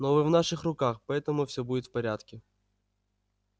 но вы в наших руках поэтому все будет в порядке